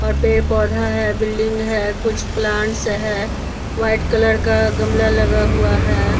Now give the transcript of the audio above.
और पे पौधा है बिल्डिंग है कुछ प्लांट्स है वाइट कलर का गमला लगा हुआ है।